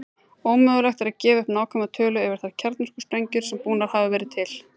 Ómögulegt er að gefa upp nákvæma tölu yfir þær kjarnorkusprengjur sem búnar hafa verið til.